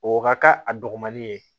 O ka k'a a dɔgɔmani ye